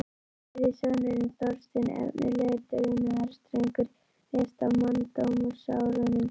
Þriðji sonurinn, Þorsteinn, efnilegur dugnaðardrengur, lést á manndómsárunum.